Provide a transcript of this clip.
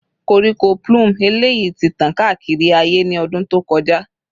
Koríko plume eleyi ti tan kaakiri aaye ni ọdun to kọja